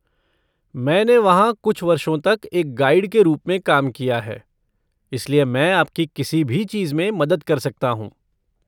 मैंने वहाँ कुछ वर्षों तक एक गाइड के रूप में काम किया है, इसलिए मैं आपकी किसी भी चीज़ में मदद कर सकता हूँ।